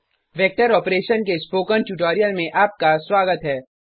vector operation के spoken tutorial में आपका स्वागत है